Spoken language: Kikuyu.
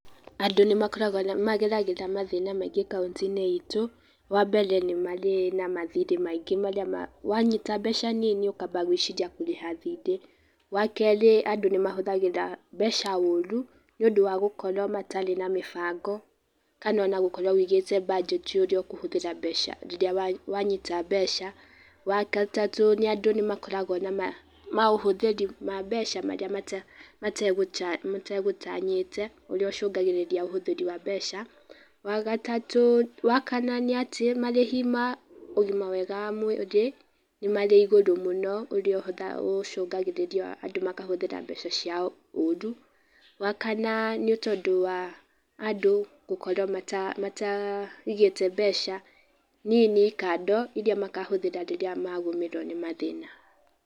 Andũ nĩ makoragwo mageragĩra mathĩna maingĩ kaũntĩ-inĩ itũ, wa mbere nĩ marĩ na mathiri maingĩ marĩa wanyita mbeca nini, ũkamba gwĩciria kũrĩha thirĩ, wa kerĩ andũ nĩ mahũthagĩra mbeca oru, nĩũndũ wa gũkorwo matarĩ na mĩbango kana ona gũkorwo ũigĩte mbanjeti ũrĩa ũkũhũthĩra mbeca rĩrĩa wanyita mbeca, wa gatatũ andũ nĩmakoragwo na maũhũthĩri ma mbeca marĩa mategũtanyĩte, ũrĩa ũcũngagĩrĩria ũhũthĩri wa mbeca, wa gatatũ, wa kana nĩ atĩ marĩhi ma ũgima mwega wa mwĩrĩ, nĩ marĩ igũrũ mũno ũrĩa ũcũngagĩrĩria andũ makahũthĩra mbeca ciao ũru, wa kana nĩ tondũ wa andũ gũkorwo mata mata mataigĩte mbeca nini kando iria makahũthĩra rĩrĩa magũmĩrwo nĩ mathĩna.